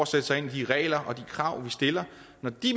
sætte sig ind i de regler og krav vi stiller når de